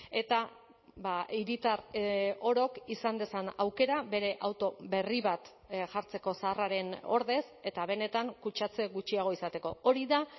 eta hiritar orok izan dezan aukera bere auto berri bat jartzeko zaharraren ordez eta benetan kutsatze gutxiago izateko hori da